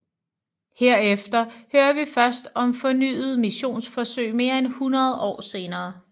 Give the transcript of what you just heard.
Herefter hører vi først om fornyede missionsforsøg mere end hundrede år senere